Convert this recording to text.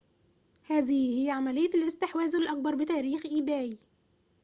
هذه هي عملية الاستحواذ الأكبر بتاريخ إيباي